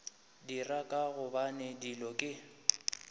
dira ka gobane dilo ke